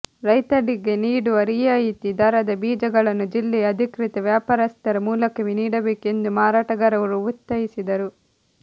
ರೈತರಿಗೆ ನೀಡುವ ರಿಯಾಯಿತಿ ದರದ ಬೀಜಗಳನ್ನು ಜಿಲ್ಲೆಯ ಅಧಿಕೃತ ವ್ಯಾಪಾರಸ್ಥರ ಮೂಲಕವೇ ನೀಡಬೇಕು ಎಂದು ಮಾರಾಟಗಾರರು ಒತ್ತಾಯಿಸಿದರು